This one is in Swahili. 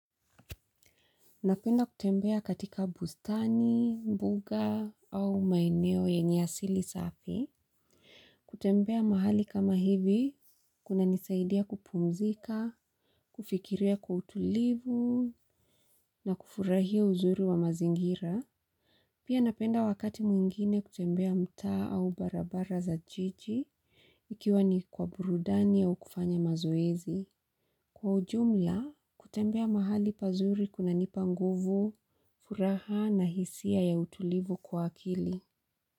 Napenda kutembea katika bustani, mbuga au maeneo yenye asili safi. Kutembea mahali kama hivi, kuna nisaidia kupumzika, kufikiria kwa utulivu na kufurahia uzuri wa mazingira. Pia napenda wakati mwingine kutembea mtaa au barabara za jiji, ikiwa ni kwa burudani au kufanya mazoezi. Kwa ujumla, kutembea mahali pazuri kunanipa nguvu, furaha na hisia ya utulivu kwa akili.